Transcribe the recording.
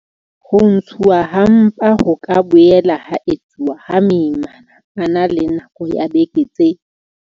Ho ntshuwa ha mpa ho ka boela ha etsuwa ha moimana a na le nako ya dibeke tse.